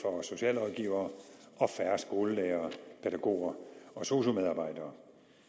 og socialrådgivere og færre skolelærere pædagoger og sosu medarbejdere